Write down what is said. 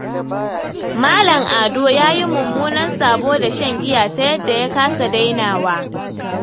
Malam Ado ya yi mummunan sabo da shan giya ta yadda ya kasa dainawa.